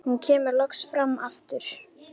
Hún kemur loks fram aftur.